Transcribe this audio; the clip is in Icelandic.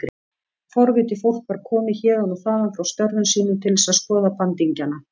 Forvitið fólk var komið héðan og þaðan frá störfum sínum til þess að skoða bandingjana.